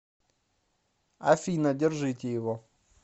афина держите его